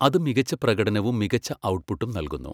അത് മികച്ച പ്രകടനവും മികച്ച ഔട്ട്പുട്ടും നൽകുന്നു.